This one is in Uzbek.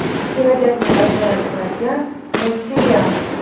Kelajakni bashorat qiladigan multserial.